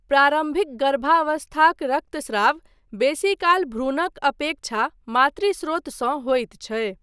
प्रारम्भिक गर्भावस्थाक रक्तस्राव बेसीकाल भ्रूणक अपेक्षा मातृ स्रोतसँ होइत छै।